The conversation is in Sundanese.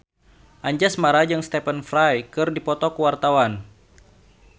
Anjasmara jeung Stephen Fry keur dipoto ku wartawan